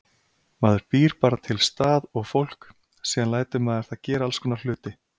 Maður býr bara til stað og fólk, síðan lætur maður það gera allskonar hluti.